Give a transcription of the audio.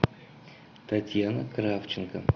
татьяна кравченко